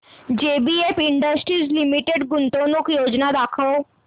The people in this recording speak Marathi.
जेबीएफ इंडस्ट्रीज लिमिटेड गुंतवणूक योजना दाखव